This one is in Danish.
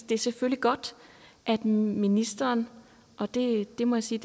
det er selvfølgelig godt at ministeren og det må jeg sige